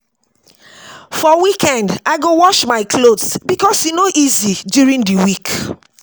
For weekend, I go wash my clothes because e no easy during the week.